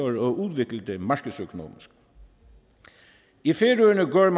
at udvikle det markedsøkonomisk i færøerne går man